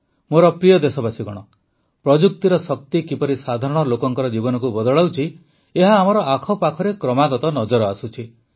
ମୋର ପ୍ରିୟ ଦେଶବାସୀଗଣ ପ୍ରଯୁକ୍ତିର ଶକ୍ତି କିପରି ସାଧାରଣ ଲୋକଙ୍କ ଜୀବନକୁ ବଦଳାଉଛି ଏହା ଆମର ଆଖପାଖରେ କ୍ରମାଗତ ନଜର ଆସୁଛି